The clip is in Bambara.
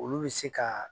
Olu bɛ se ka